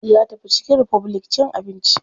Ya tafi chicken republic cin abinci.